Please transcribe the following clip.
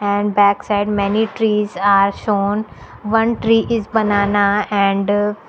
and backside many trees are shown one tree is banana and --